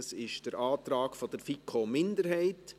Dies ist der Antrag der FiKo-Minderheit.